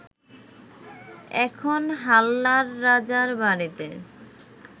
এখন হাল্লার রাজার বাড়িতে